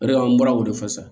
O de la an bɔra o de fɔ sa